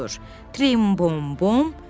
Trim bom bom.